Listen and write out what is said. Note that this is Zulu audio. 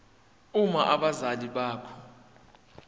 uma abazali bakho